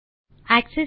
hello friends